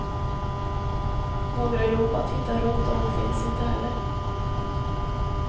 Några jobb att hitta runt om finns heller inte.